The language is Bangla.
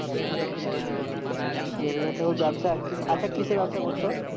রবীন্দ্রনাথ ঠাকুর ব্যবসা আচ্ছা কিসের ব্যবসা করতো